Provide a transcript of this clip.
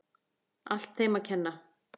Allt þeim að kenna.!